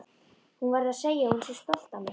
Hún verði að segja að hún sé stolt af mér.